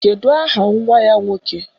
Kedụ aha nwa ya nwoke?